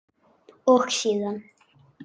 Og síðan?